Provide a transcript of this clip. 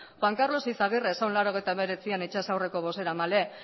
juan karlos izagirre zen mila bederatziehun eta laurogeita hemezortzian itsas aurreko bozeramaile